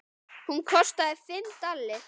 Hún kostaði fimm dali.